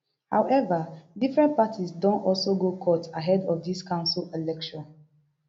however different parties don also go court ahead of dis council election